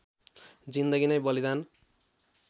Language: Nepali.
जिन्दगी नै बलिदान